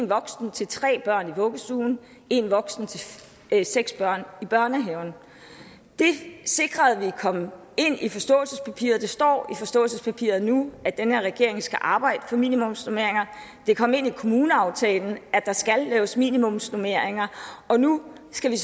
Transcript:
voksen til tre børn i vuggestuen og én voksen til seks børn i børnehaven det sikrede vi kom ind i forståelsespapiret der står i forståelsespapiret nu at den her regering skal arbejde for minimumsnormeringer det kom ind i kommuneaftalen at der skal laves minimumsnormeringer og nu skal vi